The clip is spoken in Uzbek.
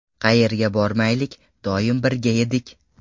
Qayerga bormaylik, doim birga edik.